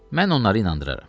Mən onları inandıraram.